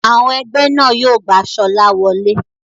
Àwọn ẹgbẹ́ náà yóò gba Sola wole.